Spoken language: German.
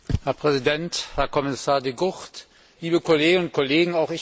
Herr Präsident, Herr Kommissar De Gucht, liebe Kolleginnen und Kollegen!